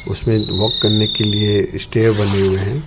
उसमे वॉक करने के लिए स्टे बने हुए हैं.